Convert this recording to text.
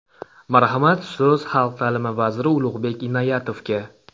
Marhamat, so‘z xalq ta’limi vaziri Ulug‘bek Inoyatovga.